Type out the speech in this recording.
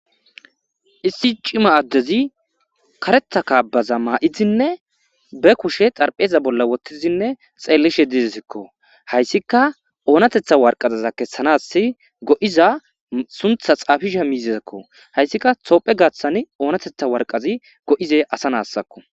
issi cima addezi karetha kaabaza maa7izinne be kushe xarpheeza bolla wottizinne xeellishe dizisikko hayssika oonatetha warqazaza kessanas go7iza suntha xaafisha miizezakko hayssika toophe gaaththani oonatetha warqazi go7izey asa naassakko